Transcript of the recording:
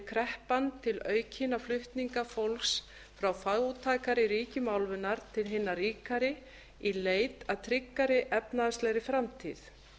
kreppan til aukinna flutninga fólks frá fátækari ríkjum álfunnar til hinna ríkari í leit að tryggari efnahagslegri framtíð